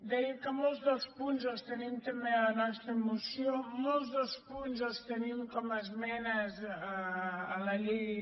deia que molts dels punts els tenim també a la nostra moció molts dels punts els tenim com a esmenes a la llei